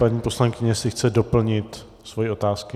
Paní poslankyně - jestli chce doplnit svoje otázky?